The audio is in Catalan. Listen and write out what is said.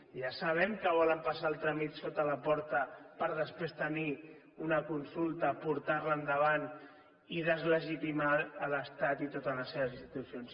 ja sabem que volen passar el tràmit sota la porta per després tenir una consulta portar la endavant i deslegitimar l’estat i totes les seves institucions